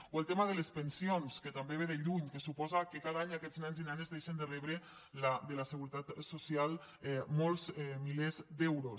o el tema de les pensions que també ve de lluny que suposa que cada any aquests nens i nenes deixen de rebre de la seguretat social molts milers d’euros